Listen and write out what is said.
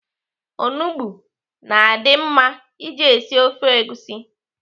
Onugbo na-adị mma iji esi ofe egusi.